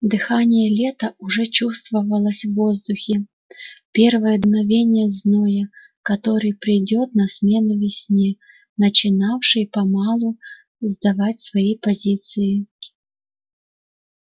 дыхание лета уже чувствовалось в воздухе первое дуновение зноя который придёт на смену весне начинавшей мало-помалу сдавать свои позиции